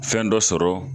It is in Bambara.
Fɛn dɔ sɔrɔ